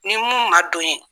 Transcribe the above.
Ni mun man don ye